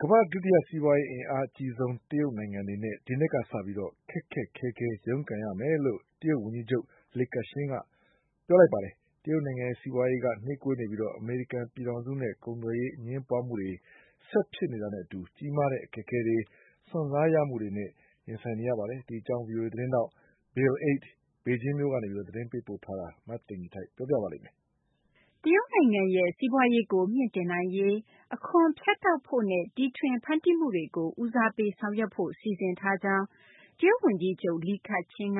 ကမ္ဘာ့ဒုတိယ အင်အားအကြီးဆုံး စီးပွားရေးမှာ ဒီနှစ်ကစလို့ ခက်ခက်ခဲခဲ ရုန်းကန်ရမယ်လို့ ပြောဆိုလိုက်ပါတယ်။ တရုတ်နိုင်ငံရဲ့ စီးပွားရေးက နှေးကွေးနေပြီး အမေရိကန် ပြည်ထောင်စုနဲ့ ကုန်သွယ်ရေး အငြင်းပွားမှုတွေ ဆက်ဖြစ်နေတာနဲ့ အတူ ကြီးမားတဲ့ အခက်အခဲတွေ၊ စွန့်စားရမှုတွေနဲ့ ရင်ဆိုင်နေရတာပါ။ ဗွီအိုအေ သတင်းထောက် Bill Ide ဘေဂျင်းမြို့တော်ကနေ သတင်းပေးပို့ထားပါတယ်။ မသိင်္ဂ ီထိုက် ပြောပြမှာပါ။ တရုတ်နိုင်ငံရဲ့ စီးပွားရေးကို မြှင့်တင်နိုင်ရေး အခွန်ဖြတ်တောက်ဖို့နဲ့ တီထွင်ဖန်တီးမှုတွေကို ဦးစားပေး ဆောင်ရွက်ဖို့ စီစဉ်ထားကြောင်း တရုတ် ဝန်ကြီးချုပ် Li Keqiang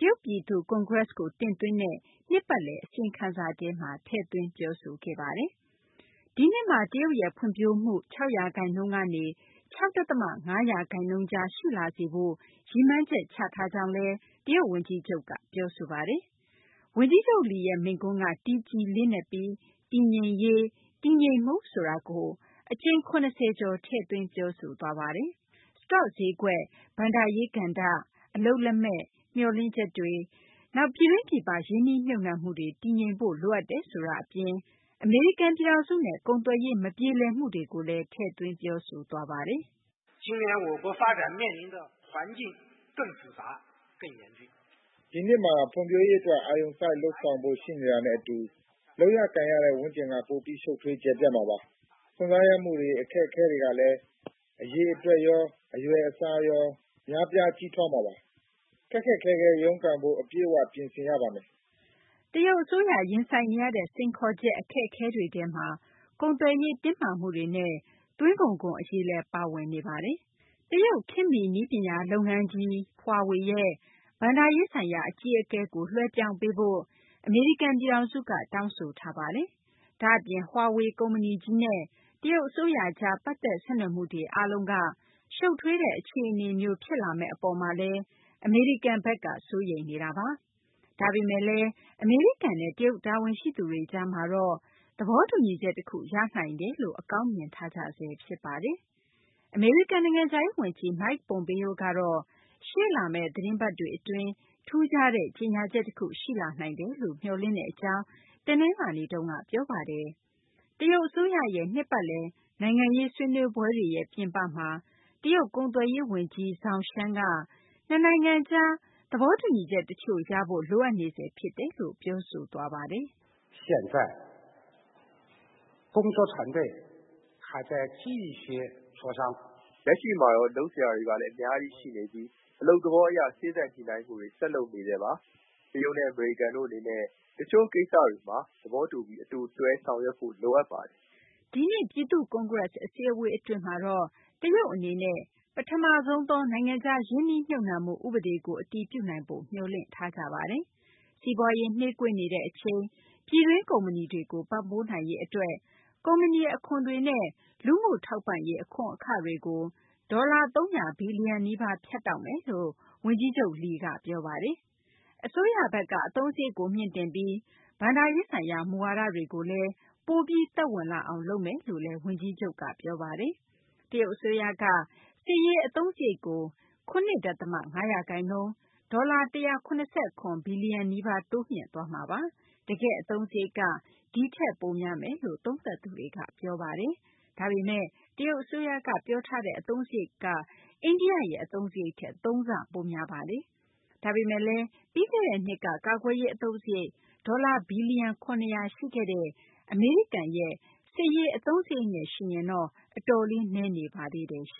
က တရုတ်ပြည်သူ့ ကွန်ဂရက်စ်ကို တင်သွင်းတဲ့ နှစ်ပတ်လည် အစီရင်ခံစာထဲမှာ ထည့်သွင်းပြောဆိုခဲ့ပါတယ်။ ဒီနှစ်မှာ တရုတ်ရဲ့ ဖွံ့ဖြိုးမှု ၆ ရာခိုင်နှုန်းကနေ ၆ ဒသမ ၅ ရာခိုင်နှုန်းကြား ရှိလာစေဖို့ ရည်မှန်းချက် ချထားကြောင်းလည်း တရုတ် ဝန်ကြီးချုပ်က ပြောဆိုပါတယ်။ ဝန်ကြီးချုပ် Li ရဲ့ မိန့်ခွန်းက တည်ကြည်လေးနက်ပြီး တည်ငြိမ်ရေး ၊ တည်ငြိမ်မှု ဆိုတာကို အကြိမ် ၇၀ ကျော် ထည့်သွင်း ပြောဆိုသွားပါတယ်။ စတော့ဈေးကွက်၊ ဘဏ္ဍာရေး ကဏ္ဍ၊ အလုပ်လက်မဲ့၊ မျှော်လင့်ချက်တွေ နောက် ပြည်တွင်း ပြည်ပ ရင်းနှီးမြှုပ်နှံမှုတွေ တည်ငြိမ်ဖို့ လိုအပ်တယ်ဆိုတာ အပြင် အမေရိကန် ပြည်ထောင်စုနဲ့ ကုန်သွယ်ရေး မပြေလည်မှုတွေကိုလည်း ထည့်သွင်း ပြောပါတယ်။ "ဒီနှစ်မှာ ဖွံ့ဖြိုးရေးအတွက် အာရုံစိုက် လုပ်ဆောင်ဖို့ ရှိနေတာနဲ့ အတူ လုပ်ရကိုင်ရတဲ့ ဝန်းကျင်က ပိုပြီး ရှုပ်ထွေး ကျယ်ပြန့်မှာပါ။ စွန့်စားရမှုတွေ အခက်အခဲတွေကလည်း အရေအတွက်ရော အရွယ်အစားရော များပြား ကြီးထွားမှာပါ။ ခက်ခက်ခဲခဲ ရုန်းကန်ဖို့ အပြည့်အ၀ ပြင်ဆင်ကြရပါမယ်။" တရုတ် အစိုးရ ရင်ဆိုင်နေရတဲ့ စိန်ခေါ်ချက် အခက်အခဲတွေထဲမှာ ကုန်သွယ်ရေး တင်းမာမှုတွေနဲ့ သွင်းကုန်ခွန် အရေးလည်း ပါဝင်နေပါတယ်။ တရုတ် နည်းပညာလုပ်ငန်းကြီး Huawei ရဲ့ ဘဏ္ဍာရေးဆိုင်ရာ အကြီးအကဲကို လွှဲပြောင်းပေးဖို့ အမေရိကန် ပြည်ထောင်စုက တောင်းဆိုထားပါတယ်။ ဒါ့အပြင် Huawei ကုမ္ပဏီကြီးနဲ့ တရုတ် အစိုးရကြား ပတ်သက်ဆက်နွယ်မှုတွေ အားလုံက ရှုပ်ထွေးတဲ့ အခြေအနေမျိုး ဖြစ်လာမယ့် အပေါ်မှာလည်း အမေရိကန်ဘက်က စိုးရိမ်နေတာပါ။ ဒါပေမယ့်လည်း အမေရိကန်နဲ့ တရုတ် တာဝန်ရှိသူတွေ ကြားမှာတော့ သဘောတူညီချက် တခု ရနိုင်တယ်လို့ အကောင်းမြင်ထားကြဆဲ ဖြစ်ပါတယ်။ အမေရိကန် နိုင်ငံခြားရေး ဝန်ကြီး Mike Pompeo ကတော့ ရှေ့လာမယ့် သတင်းပတ်တွေ အတွင်း ထူးခြားတဲ့ ကြေညာချက် တခုရှိလာနိုင်တယ်လို့ မျှော်လင့်တဲ့ အကြောင်း တနလာၤနေ့က ပြောပါတယ်။ တရုတ် အစိုးရရဲ့ နှစ်ပတ်လည် နိုင်ငံရေး ဆွေးနွေးပွဲတွေရဲ့ ပြင်ပမှာ တရုတ် ကုန်သွယ်ရေး ဝန်ကြီး Zhong Shan က နှစ်နိုင်ငံကြား သဘောတူညီချက် တချို့ရဖို့ လိုအပ်နေဆဲ ဖြစ်တယ်လို့ ပြောပါတယ်။ "လက်ရှိမှာတော့ လုပ်စရာတွေကလည်း အများကြီး ရှိနေပြီး အလုပ်သဘောအရ စေ့စပ်ညှိနှိုင်းမှုတွေ ဆက်လုပ်နေဆဲပါ။ တရုတ်နဲ့ အမေရိကန်တို့ အနေနဲ့ တချို့ ကိစ္စတွေမှာ သဘောတူပြီး အတူတွဲ ဆောင်ရွက်ဖို့လိုအပ်ပါတယ်။" ဒီနှစ် ပြည်သူ့ကွန်ဂရက် အစည်းအဝေး အတွင်းမှာတော့ တရုတ်အနေနဲ့ ပထမဆုံးသော နိုင်ငံခြား ရင်းနှီးမြှုပ်နှံမှု ဥပဒေကို အတည်ပြုနိုင်ဖို့ မျှော်လင့်ထားကြပါတယ်။ စီးပွားရေးနှေးကွေးနေတဲ့ အချိန် ပြည်တွင်း ကုမ္ပဏီတွေကို ပံ့ပိုးနိုင်ရေး အတွက် ကုမ္ပဏီ အခွန်တွေနဲ့ လူမှုထောက်ပံ့ရေး အခွန်အခတွေကို ဒေါ်လာ ၃၀၀ ဘီလီယံ နီးပါး ဖြတ်တောက်မယ်လို့ ဝန်ကြီးချုပ် Li က ပြောပါတယ်။ အစိုးရဘက်က အသုံးစာရိတ်ကို မြှင့်တင်ပြီး ဘဏ္ဍာရေးဆိုင်ရာ မူဝါဒတွေကိုလည်း ပိုပြီး သက်ဝင်လာအောင်လုပ်မယ်လို့လည်း ဝန်ကြီးချုပ်က ပြောပါတယ်။ တရုတ်အစိုးရက စစ်ရေး အသုံးစရိတ်ကိုလည်း ၇ ဒသမ ၅ ရာခိုင်နှုန်း ဒေါ်လာ ၁၇၇ ဘီလီယံ နီးပါး တိုးမြှင့်သွားမှာပါ။ တကယ့် အသုံးစာရိတ်က ဒီထက်ပိုများမယ်လို့ သုံးသပ်သူတွေက ပြောပါတယ်။ ဒါပေမယ့် တရုတ် အစိုးရက ပြောထားတဲ့ အသုံးစာရိတ်က အိန္ဒိယရဲ့ အသုံးစာရိတ်ထက် သုံးဆ ပိုများနေပါတယ်။ ဒါပေမယ့်လည်း ပြီးခဲ့တဲ့နှစ်က ကာကွယ်ရေး အသုံးစာရိတ် ဒေါ်လာ ဘီလီယံ ၇၀၀ ရှိခဲ့တဲ့ အမေရိကန်ရဲ့ အသုံးစာရိတ်နဲ့ ယှဉ်ရင်တော့ အတော်လေး နည်းနေပါသေးတယ်။